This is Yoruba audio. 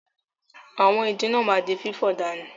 Àwọn ìdin náà ma di fífọ̀ dànù.